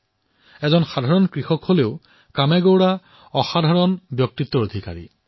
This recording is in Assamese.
তেওঁ এজন সাধাৰণ কৃষক কিন্তু তেওঁৰ ব্যক্তিত্ব অসাধাৰণ